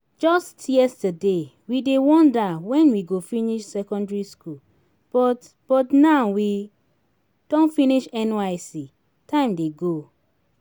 just yesterday we dey wonder when we go finish secondary school but but now we don finish nysc time dey go